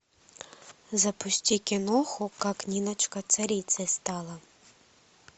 запусти киноху как ниночка царицей стала